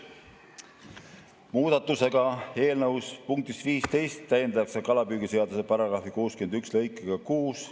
Muudatusega eelnõu punktis 15 täiendatakse kalapüügiseaduse § 61 lõikega 6.